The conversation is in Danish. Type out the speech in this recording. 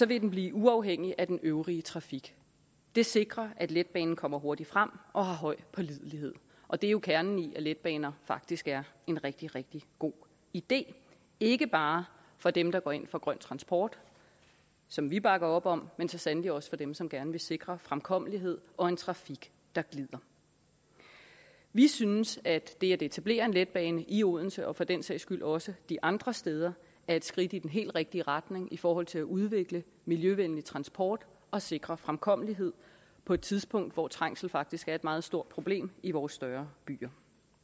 vil den blive uafhængig af den øvrige trafik det sikrer at letbanen kommer hurtigt frem og har højt pålidelighed og det er jo kernen i at letbaner faktisk er en rigtig rigtig god idé ikke bare for dem der går ind for grøn transport som vi bakker op om men så sandelig også for dem som gerne vil sikre fremkommelighed og en trafik der glider vi synes at det at etablere en letbane i odense og for den sags skyld også de andre steder er et skridt i den helt rigtige retning i forhold til at udvikle miljøvenlig transport og sikre fremkommelighed på et tidspunkt hvor trængsel faktisk er et meget stort problem i vores større byer